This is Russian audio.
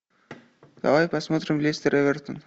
давай посмотрим лестер эвертон